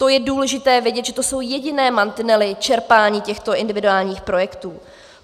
To je důležité vědět, že to jsou jediné mantinely čerpání těchto individuálních projektů.